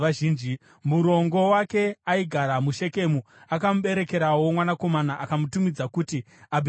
Murongo wake, aigara muShekemu, akamuberekerawo mwanakomana, akamutumidza kuti Abhimereki.